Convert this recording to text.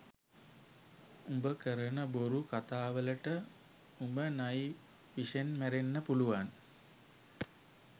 උඹ කරණ බොරු කතාවලට උඹ නයි විෂෙන් මැරෙන්න පුළුවන්